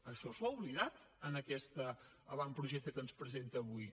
això s’ho ha oblidat en aquest avantprojecte que ens presenta avui